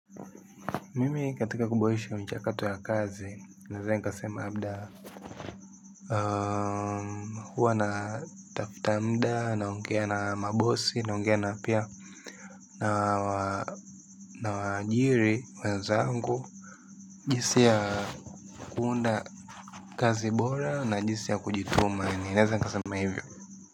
Mimi katika kuboresha mchakato ya kazi, naweza nikasema labda huwa natafuta muda, naongea na mabosi, naongea na pia. Na waajiri wenzangu jinsi ya kuunda kazi bora na jinsi ya kujituma ninaweza nikasema hivi.